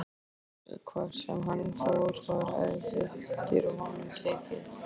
Hvar sem hann fór var eftir honum tekið.